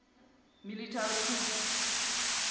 military coup